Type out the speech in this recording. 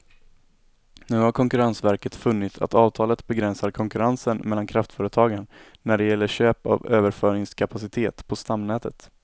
Nu har konkurrensverket funnit att avtalet begränsar konkurrensen mellan kraftföretagen när det gäller köp av överföringskapacitet på stamnätet.